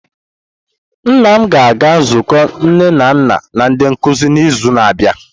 Nna m ga-aga nzukọ nne na nna na ndi nkuzi n'izu na-abịa.